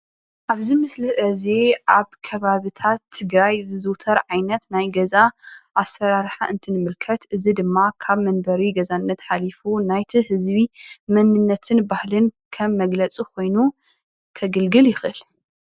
ኣብዚ ምስሊ እዚ ኣብ ከባቢታት ትግራይ ዝዝውተር ዓይነት ናይ ገዛ ኣሰራርሓ እንትንምልከት፡፡ እዚ ድማ ካብ መንበሪ ገዛነት ሓሊፉ ናይቲ ህዝቢ መንነትን ባህልን ከም መግለፂ ኮይኑ ከገልግል ይክእል፡፡